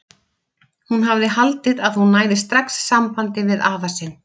Hún hafði haldið að hún næði strax sambandi við afa sinn.